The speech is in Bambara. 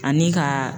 Ani ka